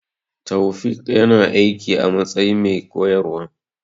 Taofiq ya na aiki a matsayin mai koyarwa